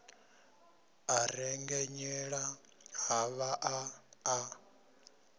a rengenyela a vhaḓa a